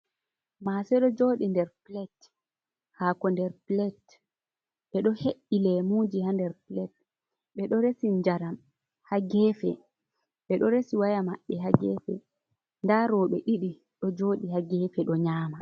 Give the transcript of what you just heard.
Maase ɗo jooɗi nder pulet, haako nder pulet ,ɓe ɗo he’i leemuuji haa nder pulet. Ɓe ɗo resi njaram haa geefe, ɓe ɗo resi waya maɓɓe haa geefe, ndaa rowɓe ɗiɗi ɗo jooɗi haa geefe ɗo nyaama.